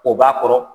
K'o b'a kɔrɔ